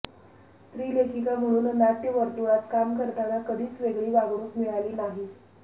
स्त्री लेखिका म्हणून नाट्यवर्तुळात काम करताना कधीच वेगळी वागणूक मिळाली नाही